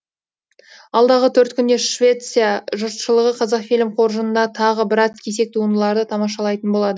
алдағы төрт күнде швеция жұртшылығы қазақфильм қоржынында тағы біраз кесек туындыларды тамашалайтын болады